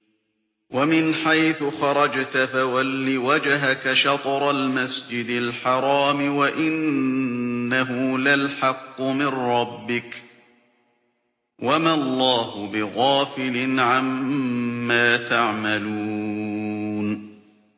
وَمِنْ حَيْثُ خَرَجْتَ فَوَلِّ وَجْهَكَ شَطْرَ الْمَسْجِدِ الْحَرَامِ ۖ وَإِنَّهُ لَلْحَقُّ مِن رَّبِّكَ ۗ وَمَا اللَّهُ بِغَافِلٍ عَمَّا تَعْمَلُونَ